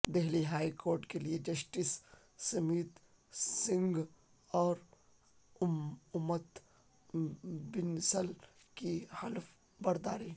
Delhi high court کیلئے justice Jasmeet Singh اور امت بنسل کی حلف برداری